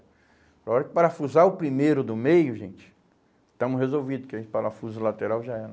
Na hora que parafusar o primeiro do meio, gente, estamos resolvidos, porque o parafuso lateral já era.